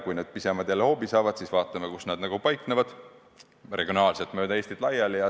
Kui need pisemad jälle hoobi saavad, siis tuleb vaadata, kus nad paiknevad – mööda Eestit laiali.